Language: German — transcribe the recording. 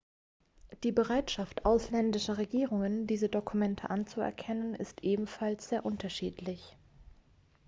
die bereitschaft ausländischer regierungen diese dokumente anzuerkennen ist ebenfalls sehr unterschiedlich